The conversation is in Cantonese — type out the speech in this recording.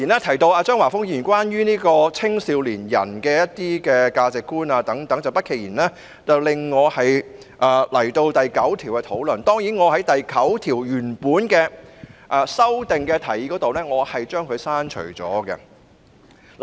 不過，張華峰議員提到青少年的價值觀等問題，不期然令我要討論《國歌條例草案》第9條——我原本提出修正案以刪除第9條。